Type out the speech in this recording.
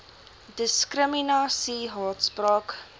diskrimina sie haatspraak